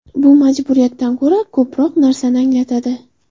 Bu majburiyatdan ko‘ra ko‘proq narsani anglatadi.